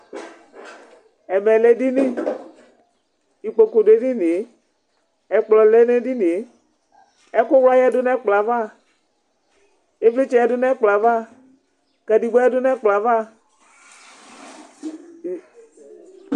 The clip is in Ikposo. Ɛvɛ lɛ edini Ikpoku dʋ edini yɛ, ɛkplɔ lɛ n'edini yɛ, ɛkʋwla yǝdu n'ɛkplɔ yɛ ava, ivlitsɛ yǝdu n'ɛkplɔ yɛ ava, kadegba yǝdu n'ɛkplɔ yɛ ava